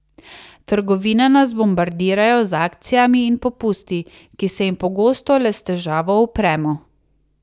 Trgovine nas bombardirajo z akcijami in popusti, ki se jim pogosto le s težavo upremo.